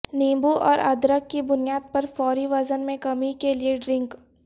نیبو اور ادرک کی بنیاد پر فوری وزن میں کمی کے لئے ڈرنک